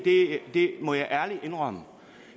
det må jeg ærligt indrømme